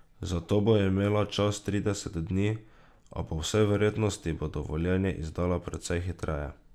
Za to bo imela čas trideset dni, a po vsej verjetnosti bo dovoljenje izdala precej hitreje.